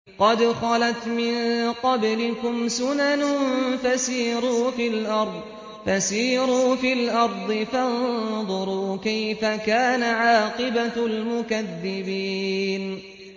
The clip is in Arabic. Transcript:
قَدْ خَلَتْ مِن قَبْلِكُمْ سُنَنٌ فَسِيرُوا فِي الْأَرْضِ فَانظُرُوا كَيْفَ كَانَ عَاقِبَةُ الْمُكَذِّبِينَ